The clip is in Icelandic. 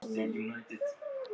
Hvað ertu þá með í glasinu?